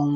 um.